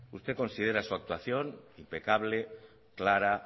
usted considera su actuación impecable clara